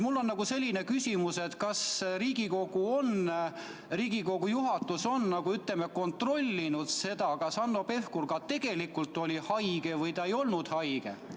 Mul on selline küsimus: kas Riigikogu juhatus on kontrollinud, kas Hanno Pevkur tegelikult oli haige või ta ei olnud haige?